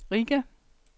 Riga